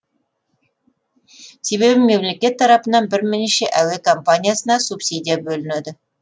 себебі мемлекет тарапынан бірнеше әуе компаниясына субсидия бөлінеді